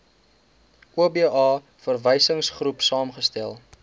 oba verwysingsgroep saamgestel